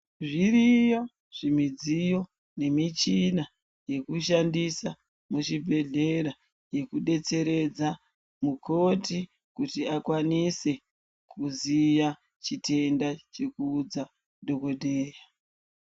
Zviriyo zvimidziyo nemichina yekushandisa muzvibhedhlera. Yekubetseredza mukoti kuti akwanise kuziya chitenda chekuudza dhogodheya.